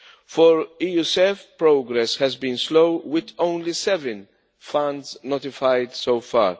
For EuSEF progress has been slow, with only seven funds notified so far.